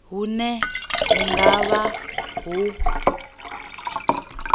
hune hu nga vha ho